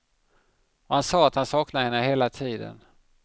Och han sa att han saknade henne hela tiden.